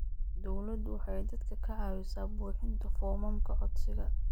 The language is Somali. Dawladdu waxay dadka ka caawisaa buuxinta foomamka codsiga.